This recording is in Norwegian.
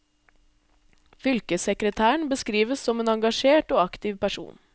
Fylkessekretæren beskrives som en engasjert og aktiv person.